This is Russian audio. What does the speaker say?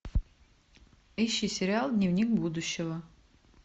ищи сериал дневник будущего